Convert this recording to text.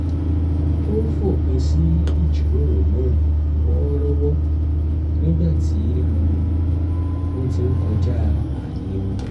ó fòpin sí ìjíròrò náà wọ̣́ọ́rọ́wọ́ nígbà tí um wọ́n ti ń kọjáàyè wọn